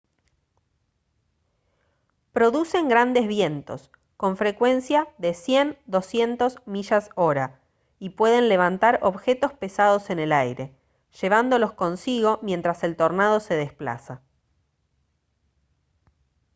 producen grandes vientos con frecuencia de 100-200 millas/hora y pueden levantar objetos pesados en el aire llevándolos consigo mientras el tornado se desplaza